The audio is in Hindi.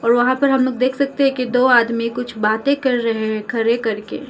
रोहा पर हम लोग देख सकते है के दो आदमी कुछ बातें कर रहे हैं खरे करके।